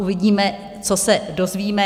Uvidíme, co se dozvíme.